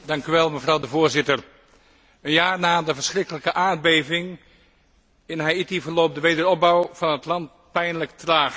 Mevrouw de Voorzitter, een jaar na de verschrikkelijke aardbeving in Haïti verloopt de wederopbouw van het land pijnlijk traag.